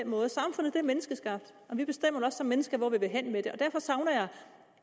måde samfundet en menneskeskabt og vi bestemmer som mennesker hvor vi vil hen med det derfor savner jeg